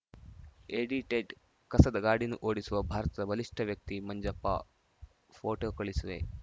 edited ಕಸದ ಗಾಡಿ ಓಡಿಸುವ ಭಾರತದ ಬಲಿಷ್ಠ ವ್ಯಕ್ತಿ ಮಂಜಪ್ಪ ಫೋಟೋ ಕಳಿಸುವೆ